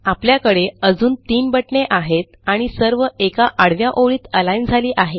आपल्याकडे अजून तीन बटणे आहेत आणि सर्व एका आडव्या ओळीत अलिग्न झाली आहेत